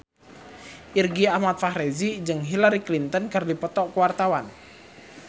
Irgi Ahmad Fahrezi jeung Hillary Clinton keur dipoto ku wartawan